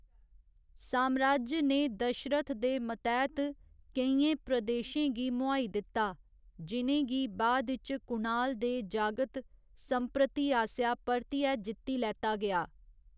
साम्राज्य ने दशरथ दे मतैह्त केइयें प्रदेशें गी मोहाई दित्ता, जि'नें गी बाद इच कुणाल दे जागत संप्रति आसेआ परतियै जित्ती लैता गेआ।